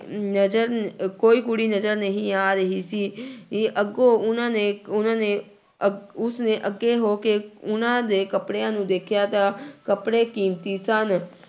ਨਜ਼ਰ ਕੋਈ ਕੁੜੀ ਨਜ਼ਰ ਨਹੀਂ ਆ ਰਹੀ ਸੀ ਹੀ ਅੱਗੋਂ ਉਹਨਾਂ ਨੇ ਉਹਨਾਂ ਨੇ ਅ ਉਸਨੇ ਅੱਗੇ ਹੋ ਕੇ ਉਹਨਾਂ ਦੇ ਕੱਪੜਿਆਂ ਨੂੰ ਦੇਖਿਆ ਤਾਂ ਕੱਪੜੇ ਕੀਮਤੀ ਸਨ